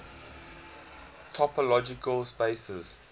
topological spaces